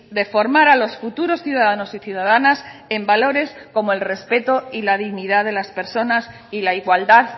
de formar a los futuros ciudadanos y ciudadanas en valores como el respeto y la dignidad de las personas y la igualdad